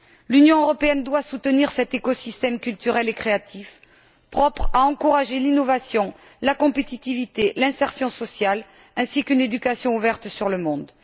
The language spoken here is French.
L'Union européenne doit soutenir cet écosystème culturel et créatif, propre à encourager l'innovation, la compétitivité, l'insertion sociale ainsi qu'une éducation ouverte sur le monde.